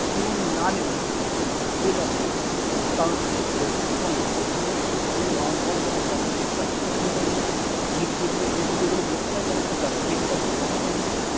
ਤੁਹਾਨੂੰ ਨਾਲ ਨੀ ਲਿਜਾਣ ਦਿੰਦੇ ਇਹ ਗੱਲ ਹੈ ਭਾਵੇਂ ਤੁਸੀਂ ਗੁੱਸੇ ਹੋਵੇ ਭਾਵੇਂ ਨਰਾਜ਼ ਹੋਵੋਂ, ਤੁਹਾਨੂੰ ਆਉਣ ਸਾਰ ਪਹਿਲਾਂ ਦਸ ਰੁਪਏ ਦੀ ਪਰਚੀ ਕੱਟਣੀ ਪੈਣੀ ਹੈ ਵੀਹ ਰੁਪਏ ਦੀ ਜੇ ਤੁਹਾਡੇ ਕੋਲ ਮੋਟਰ ਸਾਈਕਲ ਹੈ ਫਿਰ ਦਸ ਰੁਪਏ ਦੀ ਪਰਚੀ ਕੱਟਣੀ ਪੈਂਦੀ ਹੈ,